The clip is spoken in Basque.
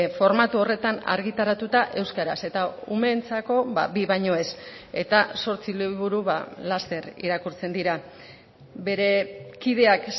formatu horretan argitaratuta euskaraz eta umeentzako bi baino ez eta zortzi liburu laster irakurtzen dira bere kideak